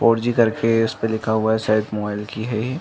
Four G करके इसपे लिखा हुआ हे। शायद मोबाईल की हे ये --